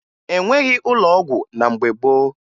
E nweghi ụlọ ọgwụ na mgbe gboo